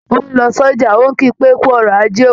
Ó ń lọ sọ́jà, ń ò kí pé "kú ọrọ̀ ajé o"